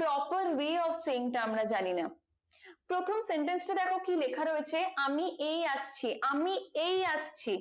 proper view of sink আমরা জানি না প্রথম sentence টা দেখো কি লেখা রয়েছে আমি এই আসছি আমি এই আসছি